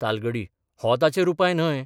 तालगडी हो ताचेर उपाय न्हय.